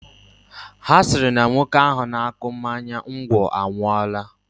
Ha sịrị na nwoke ahụ na-akụ mmanya ngwọ anwụọla